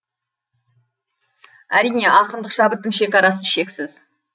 әрине ақындық шабыттың шекарасы шексіз